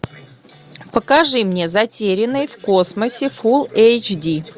покажи мне затерянный в космосе фул эйч ди